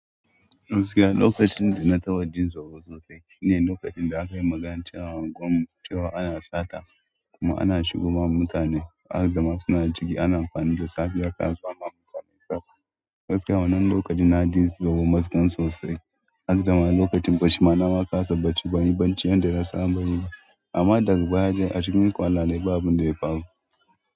Gaskiya lokacin da na taɓa jin tsoro sosai shine lokacin da aka yi magancewa a unguwar mu cewa ana sata kuma ana shigo wa mutane har da masu na jiki ana amfani da safiya ka zo ma mutane sata. Gaskiya wannan lokacin na ji tsoro matuƙan sosai har da lokacin gashi ma nama ƙasa bacci banyi banci yanda na saba yi ba amma daga baya a cikin kwana babun ɗaya faru.